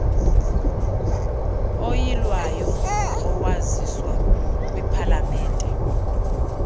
oyilwayo owaziswa kwipalamente